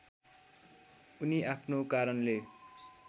उनी आफ्नो कारणले